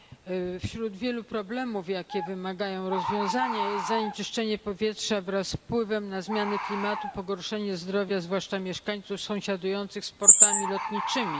Panie Przewodniczący! Wśród wielu problemów, jakie wymagają rozwiązania, jest zanieczyszczenie powietrza wraz z wpływem na zmiany klimatu, pogorszenie zdrowia, zwłaszcza mieszkańców obszarów sąsiadujących z portami lotniczymi.